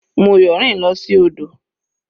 Moyo rìn lọ sí odò.